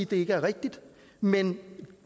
det ikke er rigtigt men